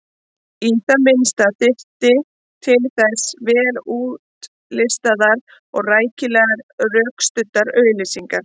Í það minnsta þyrfti til þess vel útlistaðar og rækilega rökstuddar auglýsingar.